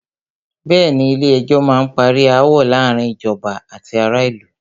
Bẹ̀ẹ́ni, Ilé ẹjọ́ má n parí aáwọ̀ láàárín ìjọba àti ará ìlú.